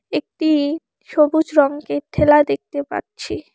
একটি সবুজ রঙ্গের ঠেলা দেখতে পাচ্ছি।